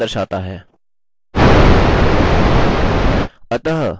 जो onetoone relationship को दर्शाता है